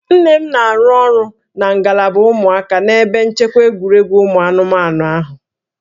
Nne m na-arụ ọrụ na ngalaba ụmụaka n'ebe nchekwa egwuregwu ụmụ anụmanụ ahụ